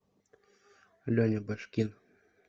леня башкин